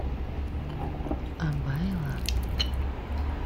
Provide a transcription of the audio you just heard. абайла